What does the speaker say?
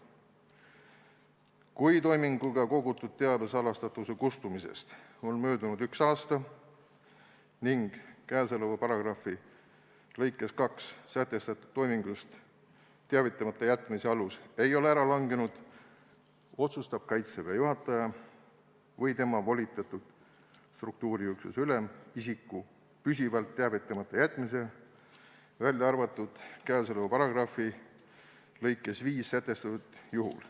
Lõige 4: "Kui toiminguga kogutud teabe salastatuse kustumisest on möödunud üks aasta ning käesoleva paragrahvi lõikes 2 sätestatud toimingust teavitamata jätmise alus ei ole ära langenud, otsustab Kaitseväe juhataja või tema volitatud struktuuriüksuse ülem isiku püsivalt teavitamata jätmise, välja arvatud käesoleva paragrahvi lõikes 5 sätestatud juhul.